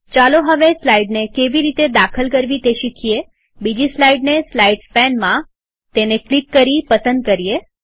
ચાલો હવે સ્લાઈડ કેવી રીતે દાખલ કરવી તે શીખીએબીજી સ્લાઈડને સ્લાઈડ્સ પેનમાંતેને ક્લિક કરી પસંદ કરીએ